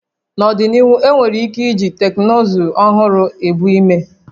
N'ọdịnihu, enwere ike iji teknụzụ ọhụrụ ebu ime